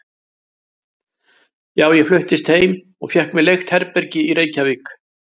Já, ég fluttist heim og fékk mér leigt herbergi í Reykjavík.